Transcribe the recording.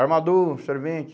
Armador, servente.